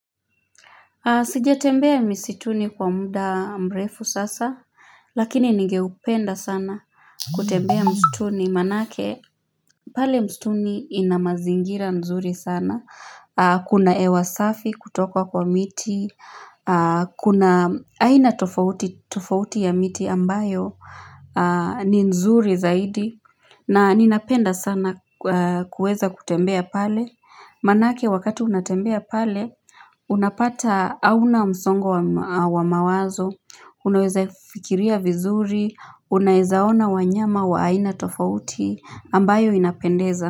Sijatembea misituni kwa muda mrefu sasa Lakini nigeupenda sana kutembea msituni manake pale msituni ina mazingira nzuri sana Kuna hewa safi kutoka kwa miti Kuna aina tofauti ya miti ambayo ni nzuri zaidi na ninapenda sana kuweza kutembea pale Manake wakati unatembea pale Unapata hauna msongo wa mawazo Unaweza fikiria vizuri Unaweza ona wanyama wa aina tofauti ambayo inapendeza.